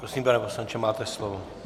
Prosím, pane poslanče, máte slovo.